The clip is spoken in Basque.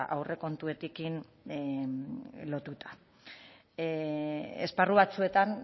aurrekontuekin lotuta esparru batzuetan